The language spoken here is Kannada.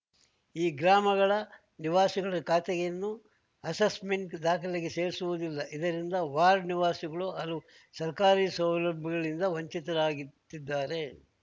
ಈ ಗ್ರಾಮಗಳ ನಿವಾಸಿಗಳ ಖಾತೆಯನ್ನು ಅಸೆಸ್‌ಮೆಂಟ್‌ ದಾಖಲೆಗೆ ಸೇರಿಸಿರುವುದಿಲ್ಲ ಇದರಿಂದ ವಾರ್ಡ್‌ ನಿವಾಸಿಗಳು ಹಲವು ಸರ್ಕಾರಿ ಸೌಲಭ್ಯಗಳಿಂದ ವಂಚಿತರಾಗಿತ್ತಿದಾರೆ